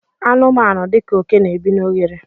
anụmanụ dika oke n'ebi n' oghere